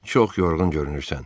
çox yorğun görünürsən.